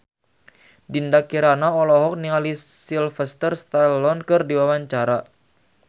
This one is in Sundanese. Dinda Kirana olohok ningali Sylvester Stallone keur diwawancara